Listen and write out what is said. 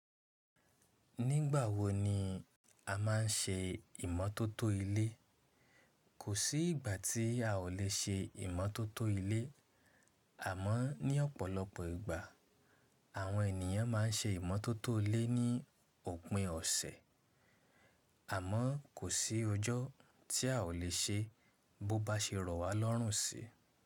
Nígbà wo ni a máa ń ṣe ìmótótó ilé? Kò sí ìgbà tí a ò lè ṣe ìmótótó ilé, àmọ́ ní ọ̀pọ̀lọpọ̀ ìgbà àwọn ènìyàn ma ń ṣe ìmótótó ilé ní òpin ọ̀sẹ̀. Àmọ́ kò sí ọjọ́ tí a ò lè ṣe bó bá ṣe rọ̀ wá lọ́rùnsí.